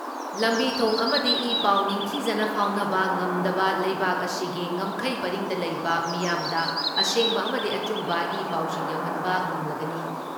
ꯂꯝꯕꯤ ꯊꯣꯡ ꯑꯃꯗꯤ ꯏ ꯄꯥꯎ ꯅꯤꯡꯊꯤꯖꯅ ꯐꯥꯎꯅꯕ ꯉꯝꯗꯕ ꯂꯩꯕꯥꯛ ꯑꯁꯤꯒꯤ ꯉꯝꯈꯩ ꯄꯔꯤꯡꯗ ꯂꯩꯕ ꯃꯤꯌꯥꯝꯗ ꯑꯁꯦꯡꯕ ꯑꯃꯗꯤ ꯑꯆꯨꯝꯕ ꯏ ꯄꯥꯎꯁꯤꯡ ꯌꯧꯍꯟꯕ ꯉꯝꯂꯒꯅꯤ ꯫